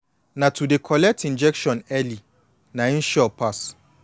na to dey collect injection early na em sure pass